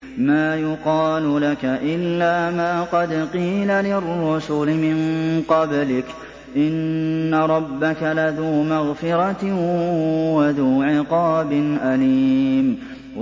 مَّا يُقَالُ لَكَ إِلَّا مَا قَدْ قِيلَ لِلرُّسُلِ مِن قَبْلِكَ ۚ إِنَّ رَبَّكَ لَذُو مَغْفِرَةٍ وَذُو عِقَابٍ أَلِيمٍ